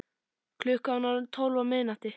Klukkan var orðin tólf á miðnætti.